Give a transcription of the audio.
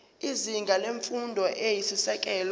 izinga lemfundo eyisisekelo